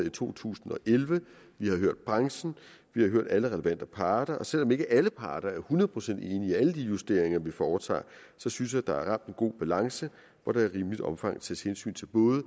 i to tusind og elleve vi har hørt branchen vi har hørt alle de relevante parter og selv om ikke alle parter er hundrede procent enig i alle de justeringer vi foretager synes jeg der er ramt en god balance hvor der i rimeligt omfang tages hensyn til både